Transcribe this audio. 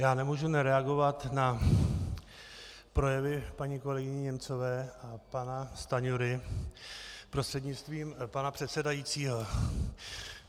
Já nemůžu nereagovat na projevy paní kolegyně Němcové a pana Stanjury, prostřednictvím pana předsedajícího.